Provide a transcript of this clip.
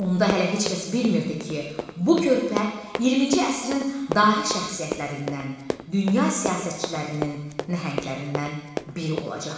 Onda hələ heç kəs bilmirdi ki, bu körpə 20-ci əsrin dahi şəxsiyyətlərindən, dünya siyasətçilərinin nəhənglərindən biri olacaqdı.